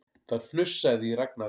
Það hnussaði í Ragnari.